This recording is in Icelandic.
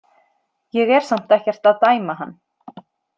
Ég er samt ekkert að dæma hann.